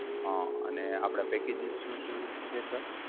હા અને આપણા packages શું શું છે sir?